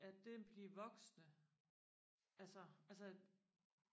at den bliver voksende altså altså